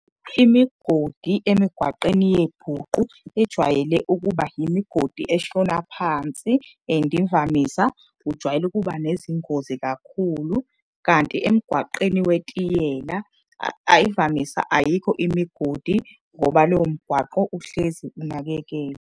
Imigodi emigwaqeni yebhuqu ijwayele ukuba imigodi eshona phansi and imvamisa kujwayele ukuba nezingozi kakhulu. Kanti emgwaqeni wetiyela ayikho imigodi ngoba lowo mgwaqo uhlezi unakekelwa.